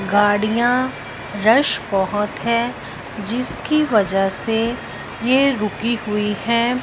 गाड़ियां रश बहुत है जिसकी वजह से ये रुकी हुई है।